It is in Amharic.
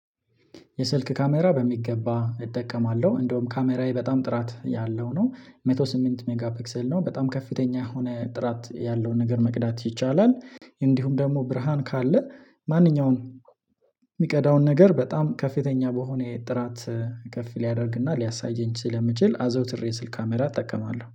የስልክ ካሜራ በሚገባ እጠቀማለሁ እንደውም ካሜራዬ በጣም ጥራት ያለው ነው መቶ ስምንት ሜጋ ፒክሰል ነው በጣም ከፍተኛ የሆነ ጥራት ያለውን ነገር መቅዳት ይቻላል። እንዲሁም ደግሞ ብርሃን ካለ ማንኛውም የሚቀዳውን ነገር በጣም ከፍተኛ በሆነ ጥራት ከፍ ሊያደርግና ሊያሳይኝ ስለሚችል አዘውትሬ የስልክ ካሜራ እጠቀማለሁ